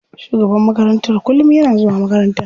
Shugaban makarantar kullum yana zuwa makarantar.